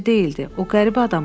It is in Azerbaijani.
O qəribə adam idi.